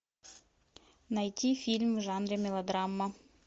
найти фильм в жанре мелодрама